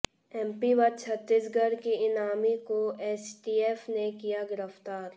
MP व छत्तीसगढ़ के इनामी को एसटीएफ ने किया गिरफ्तार